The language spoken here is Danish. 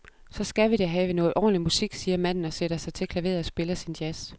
Så skal vi da have noget ordentlig musik, siger manden og sætter sig til klaveret og spiller sin jazz.